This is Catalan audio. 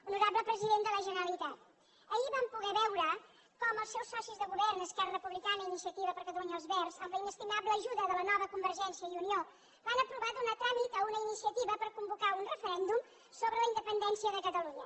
honorable president de la generalitat ahir vam poder veure com els seus socis de govern esquerra republicana i iniciativa per catalunya verds amb la inestimable ajuda de la nova convergència i unió van aprovar donar tràmit a una iniciativa per convocar un referèndum sobre la independència de catalunya